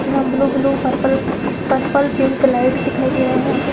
यहां blue -blue purple purple pink light दिखाई दे रहें हैं यहाँ पे --